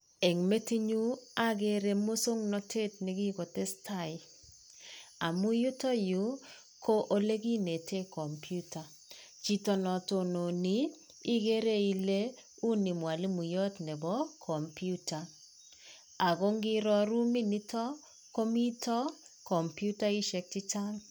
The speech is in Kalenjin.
Eng metinyu akere musoknatet nekikotestai amu yutoyu ko ole kinetee kompyuta. Chito no tononi ikere ile uni mwalimoyot nebo kompyuta ako ngiro ruminitok komito kompyutaishek chechang'.